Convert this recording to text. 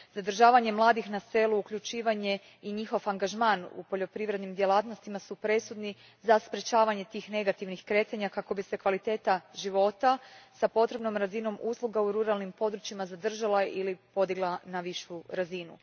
Zadržavanje mladih na selu, uključivanje i njihov angažman u poljoprivrednim djelatnostima su presudni za sprečavanje tih negativnih kretanja kako bi se kvaliteta života s potrebnom razinom usluga u ruralnim područjima zadržala ili podigla na višu razinu.